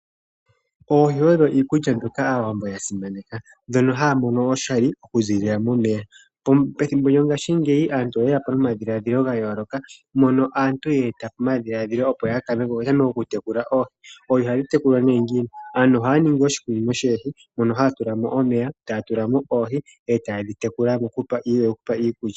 Oohi odho iikulya mbyoka Aawambo yasimaneka ndhono haya mono oshali oku ziilila momeya. Pethimbo lyongashingeyi aantu oye yapo nomadhiladhilo gayooloka mono aantu yeeta omadhiladhilo opo yatameke okutekula oohi. Oohi ohadhi tekulwa nee ngiini? Aantu ohaya ningi oshikunino shoohi mono haya tula mo omeya etaya tula mo oohi etaye dhi tekula mokudhipa iikulya.